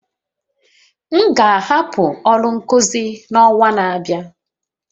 M ga-ahapụ ọrụ nkuzi n'ọnwa na-abịa